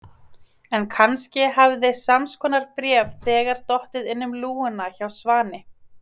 En kannski hafði sams konar bréf þegar dottið inn um lúguna hjá Svani.